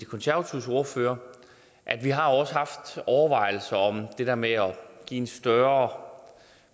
konservatives ordfører at vi også har haft overvejelser om det der med at give en større